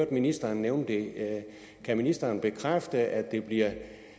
at ministeren nævnte det kan ministeren bekræfte at det bliver